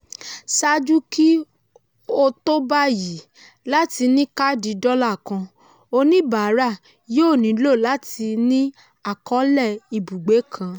ṣáájú kí o tó báyìí láti ní káàdì dọ́là kàn oníbàárà yóò nílò láti ní àkọọlé ibùgbé kan.